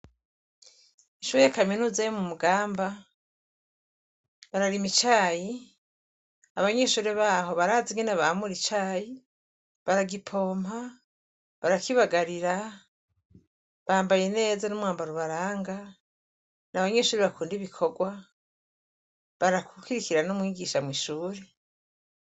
Ishuri kaminuza yo mu mugamba bararima icayi abanyeshuri baho barazi ingene bamura icayi baragipoma barakibagarira bambaye neza n'umwambaro ubaranga n'abanyeshuri bakunda ibikorwa barakwirikira n'umwigisha mw'ishuri.